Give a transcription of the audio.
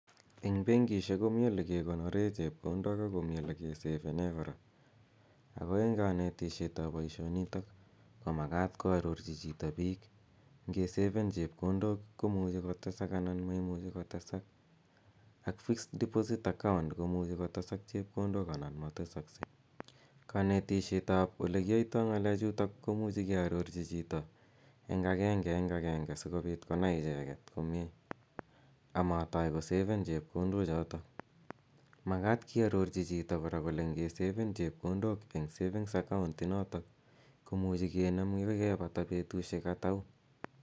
Eng benkisiek komi olegegonoren chepkondok ak komi olegesefene kora. Ko eng konetisietab boisionitok komagat koarorchi chito biik ngesefen chepkondok komuchi kotesak anan maimuchi kotesak ak fixed deposit account komuchi kotesak chepkondok anan ma tesaksei. Konetisietab olegiyoito ngalechutok komuchi kearorchi chito en agengeagenge sigopit konai icheget komie amatoi kosefen chepkondochoto. Magat iarochi chito kora, kole ngesefen chepkondok eng savings account inoto, kemuche kinem yegapata betusiek atau.